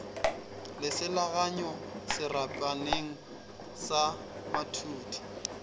le selaganyago serapaneng sa mathudi